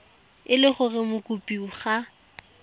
e le gore mokopi ga